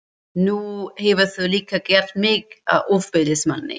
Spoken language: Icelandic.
Nú hefurðu líka gert mig að ofbeldismanni.